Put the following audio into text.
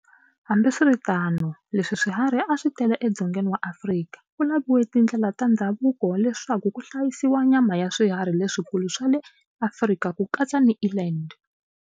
Hambiswiritano, leswi swiharhi a swi tele eDzongeni wa Afrika, ku laviwe tindlela ta ndhavuko leswaku ku hlayisiwa nyama ya swiharhi leswikulu swa le Afrika ku katsa ni eland.